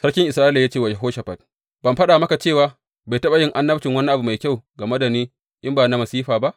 Sarkin Isra’ila ya ce wa Yehoshafat, Ban faɗa maka cewa bai taɓa yin annabci wani abu mai kyau game da ni, in ba masifa ba?